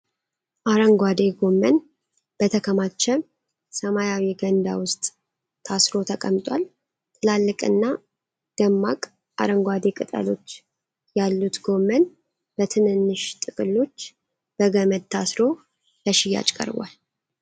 አረንጓዴ ጎመን በተከማቸ ሰማያዊ ገንዳ ውስጥ ታስሮ ተቀምጧል። ትላልቅና ደማቅ አረንጓዴ ቅጠሎች ያሉት ጎመን በትንንሽ ጥቅሎች በገመድ ታስሮ ለሽያጭ ቀርቧል።